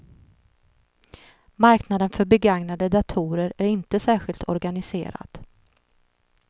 Marknaden för begagnade datorer är inte särskilt organiserad.